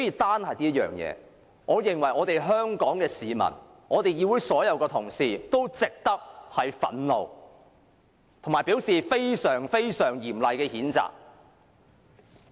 單就這點，已令全港市民及所有議員憤怒，並對他作出非常嚴厲的譴責。